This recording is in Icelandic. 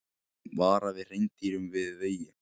Varað við hreindýrum við vegi